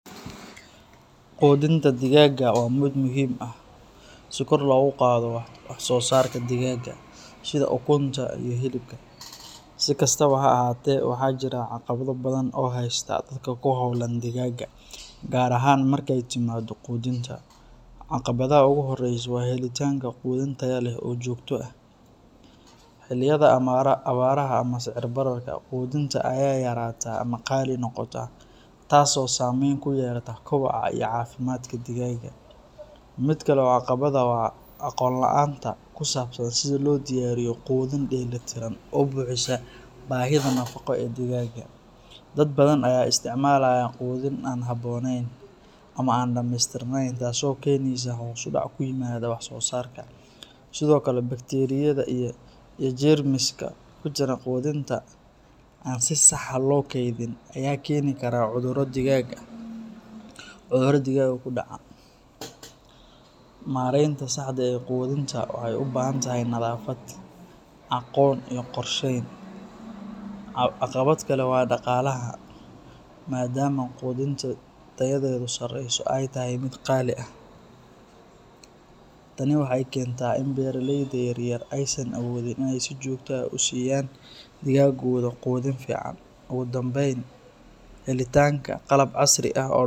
Quudinta digaagga waa mid muhiim ah si kor loogu qaado wax-soosaarka digaagga, sida ukunta iyo hilibka. Si kastaba ha ahaatee, waxaa jira caqabado badan oo haysta dadka ku hawlan digaagga, gaar ahaan marka ay timaaddo quudinta. Caqabadda ugu horreysa waa helitaanka quudin tayo leh oo joogto ah. Xilliyada abaaraha ama sicir-bararka, quudinta ayaa yaraata ama qaali noqota taas oo saameyn ku yeelata kobaca iyo caafimaadka digaagga. Mid kale oo caqabad ah waa aqoonta la’aanta ku saabsan sida loo diyaariyo quudin dheellitiran oo buuxisa baahida nafaqo ee digaagga. Dad badan ayaa isticmaalaya quudin aan habboonayn ama aan dhameystirnayn taasoo keenaysa hoos u dhac ku yimaada wax-soosaarka. Sidoo kale, bakteeriyada iyo jeermiska ku jira quudinta aan si sax ah loo kaydin ayaa keeni kara cudurro digaagga ku dhaca. Maareynta saxda ah ee quudinta waxay u baahan tahay nadaafad, aqoon iyo qorsheyn. Caqabad kale waa dhaqaalaha, maadaama quudinta tayadeedu sareyso ay tahay mid qaali ah. Tani waxay keentaa in beeraleyda yaryar aysan awoodin in ay si joogto ah u siiyaan digaaggooda quudin fiican. Ugu dambeyn, helitaanka qalab casri ah oo.